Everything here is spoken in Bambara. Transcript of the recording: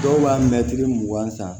Dɔw b'a mɛtiri mugan san